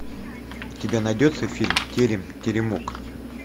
у тебя найдется фильм терем теремок